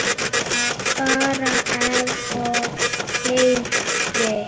Bara ef og hefði.